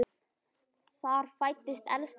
Þar fæddist elsta barn þeirra.